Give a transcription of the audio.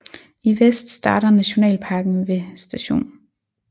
I vest starter nationalparken ved St